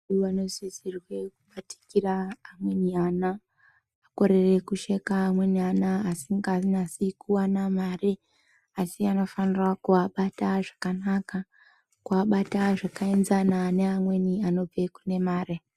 Vano sisirwe kubatikira amweni ana akorere kusheka amweni ana asinga nyasi kuwana mari asi akafanira ku abata zvakanaka ku abata zvaka enzana pane amweni anobve kune mare.